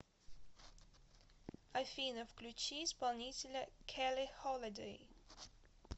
афина включи исполнителя келли холидэй